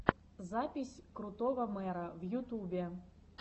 запись крутого мэра в ютубе